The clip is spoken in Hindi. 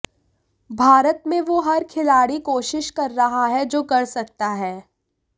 भारत में वो हर खिलाड़ी कोशिश कर रहा हैं जो कर सकता है